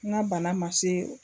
N ga bana ma se o